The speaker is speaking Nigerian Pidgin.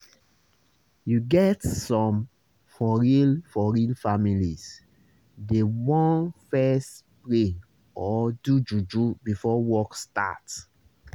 you get some for real for real families dey want fess pray or do juju before work start